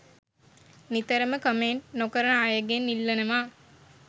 නිතරම කමෙන්ට් නොකරන අයගෙන් ඉල්ලනවා